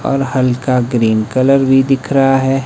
और हल्का green colour भी दिख रहा है।